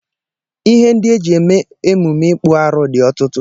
Ihe ndị e ji eme emume ịkpụ arụ dị ọtụtụ